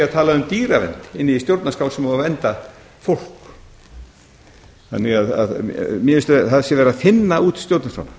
talað um dýravernd inni í stjórnarskrá sem á að vernda fólk þannig að mér finnst að það sé verið að þynna út stjórnarskrána